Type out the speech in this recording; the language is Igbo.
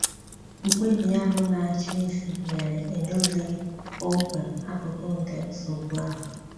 Mkpebi ahụ na-achị isi mere edozighị kpọmkwem akụkụ nke nsogbu ahụ.